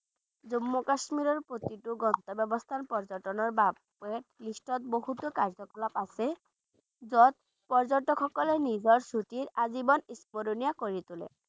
জম্মু আৰু কাশ্মীৰ প্ৰতিটো গন্তব্য স্থান পৰ্যটনৰ বাবে list ত বহুতো কাৰ্যকলাপ আছে য'ত পৰ্য্যটকসকলে নিজৰ ছুটীৰ আজীৱন স্মৰণীয় কৰি তোলে।